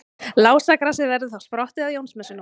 Lásagrasið verður þá sprottið á Jónsmessunótt.